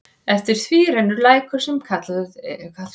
Eftir því rennur lækur, sem kallaður er Strjúgsá.